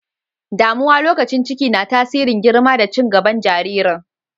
Damuwa lokacin ciki na tasirin girma da cin gaban jaririn.